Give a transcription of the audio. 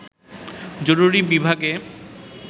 জরুরি বিভাগে